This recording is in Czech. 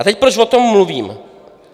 A teď, proč o tom mluvím.